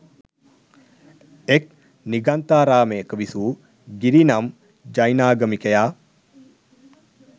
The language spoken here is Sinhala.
එක් නිගන්ඨාරාමයක විසූ ගිරි නම් ජෛනාගමිකයා